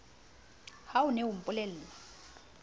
ha o ne o mpolella